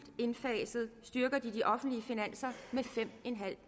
indfaset styrker de de offentlige finanser med fem